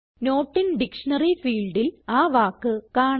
not in dictionary ഫീൽഡിൽ ആ വാക്ക് കാണാം